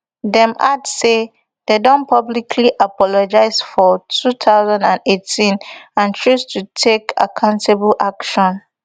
dem add say dem don publicly apologise for two thousand and eighteen and choose to take accountable action